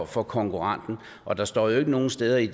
for konkurrenten og der stod ikke nogen steder i